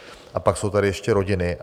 A pak jsou tady ještě rodiny.